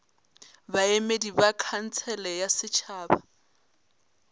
baemedi ba khansele ya setšhaba